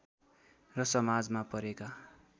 र समाजमा परेका